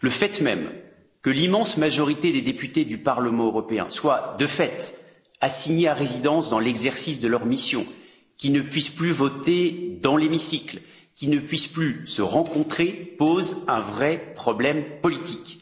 Le fait même que l'immense majorité des députés du Parlement européen soient, de fait, assignés à résidence dans l'exercice de leur mission, qu'ils ne puissent plus voter dans l'hémicycle, qu'ils ne puissent plus se rencontrer, pose un vrai problème politique.